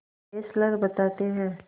Fessler बताते हैं